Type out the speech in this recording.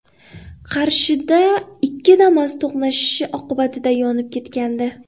Qarshida ikki Damas to‘qnashishi oqibatida yonib ketgandi .